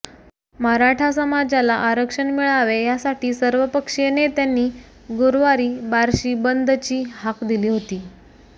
मराठा समाजाला आरक्षण मिळावे यासाठी सर्वपक्षीय नेत्यांनी गुरुवारी बार्शी बंदची हाक दिली होती